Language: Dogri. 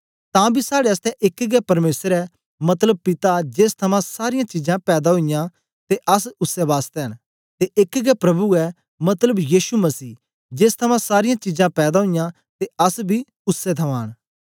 तां बी साड़े आसतै एक गै परमेसर ऐ मतलब पिता जेस थमां सारीयां चीजां पैदा ओईयां ते अस उसै बासतै न ते एक गै प्रभु ऐ मतलब यीशु मसीह जेस थमां सारीयां चीजां पैदा ओईयां ते अस बी उसै थमां न